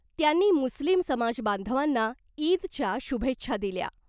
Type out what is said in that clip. त्यांनी मुस्लिम समाजबांधवांना ईदच्या शुभेच्छा दिल्या .